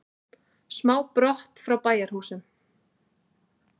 Sám brott frá bæjarhúsum.